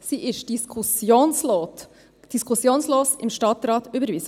Sie wurde im Stadtrat diskussionslos überwiesen.